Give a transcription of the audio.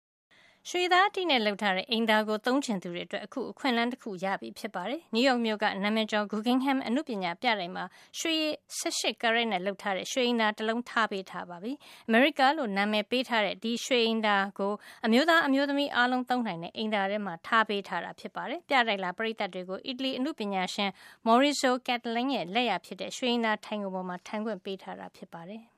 ရွှေသားအတိနဲ့ လုပ်ထားတဲ့ အိမ်သာကို သုံးချင်သူတွေအတွက် အခု အခွင့်အလန်းတခု ရပြီဖြစ်ပါတယ်။ နယူးရောက်မြို့က နာမည်ကျော် Guggenheim အနုပညာပြတိုက်မှာ ရွှေရည် ၁၈ ကာရက်နဲ့ လုပ်ထားတဲ့ ရွှေအိမ်သာအိုး တလုံး ထားပေး ထားပြီဖြစ်ပါတယ်။ “America” လို့ နာမည်ပေးထားတဲ့ ဒီရွှေအိမ်သာအိုးကို အမျိုးသား အမျိုးသမီး အားလုံးသုံးနိုင်တဲ့ အိမ်သာထဲမှာ ထားပေး ထားမှာပါ။ ပြတိုက်လာ ပရိတ်သတ်တွေကို အီတလီအနုပညာရှင် Maurizio Cattelan ရဲ့ လက်ရာဖြစ်တဲ့ ရွှေအိမ်သာ ထိုင်ခုံပေါ်မှာ ထိုင်ခွင့်ပေးထား တာ ဖြစ်ပါတယ်။